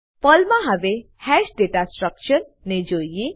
પર્લમાં હવે હાશ દાતા સ્ટ્રકચર ને જોઈએ